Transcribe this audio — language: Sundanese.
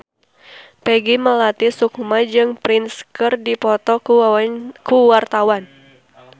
Peggy Melati Sukma jeung Prince keur dipoto ku wartawan